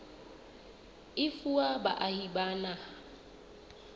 e fuwa baahi ba naha